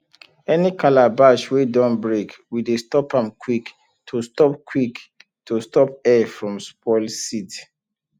any calabash wey don break we dey change am quick to stop quick to stop air from spoil seed